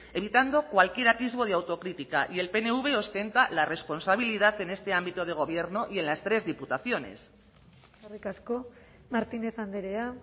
evitando cualquier atisbo de autocrítica y el pnv ostenta la responsabilidad en este ámbito de gobierno y en las tres diputaciones eskerrik asko martínez andrea